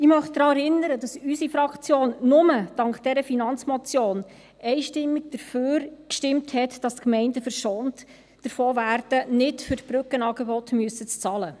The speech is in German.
Ich möchte daran erinnern, dass unsere Fraktion nur dank dieser Finanzmotion einstimmig dafür gestimmt hat, dass die Gemeinden davor verschont werden, für die Brückenangebote bezahlen zu müssen.